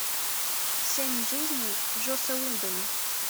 семь жизней джосса уидона